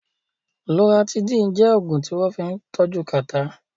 Loratidín jẹ́ Ògùn tí wọ́n fín tọ́jú kàtá